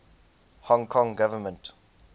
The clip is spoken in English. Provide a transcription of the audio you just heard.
hong kong government